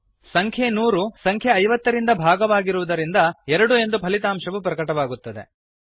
ಸಂಖ್ಯೆ 100 ಸಂಖ್ಯೆ 50 ರಿಂದ ಭಾಗವಾಗಿರುವುದರಿಂದ 2 ಎಂದು ಫಲಿತಾಂಶವು ಪ್ರಕಟವಾಗುತ್ತದೆ